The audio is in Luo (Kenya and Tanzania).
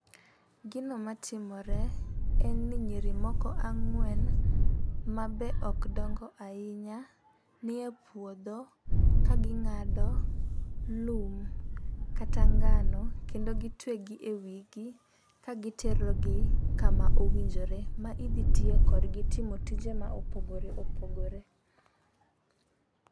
Gino matimore en ni nyiri moko ang'wen ma be ok dongo ahinya nie puodho ka ging'ado lum kata ngano kendo gitwe gi e wigi ka gitero gi kama owinjore ma idhi tiye kodgi tiyo tije ma opogore opogore.